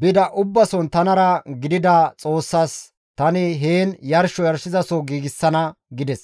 bida ubbason tanara gidida Xoossaas tani heen yarsho yarshizaso giigsana» gides.